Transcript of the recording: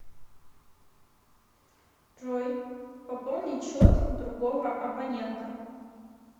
джой пополнить счет другого абонента